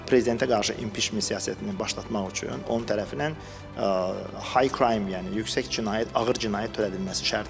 Prezidentə qarşı impiçment siyasətinin başlatmaq üçün onun tərəfindən “high crime”, yəni yüksək cinayət, ağır cinayət törədilməsi şərti var.